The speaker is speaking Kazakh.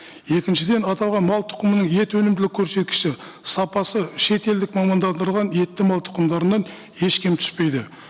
екіншіден аталған мал тұқымының ет өнімділігі көрсеткіші сапасы шетелдік мамандандырылған етті мал тұқымдарынан еш кем түспейді